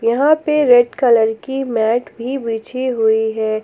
यहां पे red colour की मैट भी बिछी हुई है।